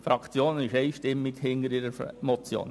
Die Fraktion steht einstimmig hinter ihrer Motion.